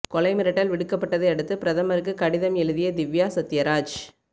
கொலை மிரட்டல் விடுக்கப்பட்டதை அடுத்து பிரதமருக்கு கடிதம் எழுதிய திவ்யா சத்யராஜ்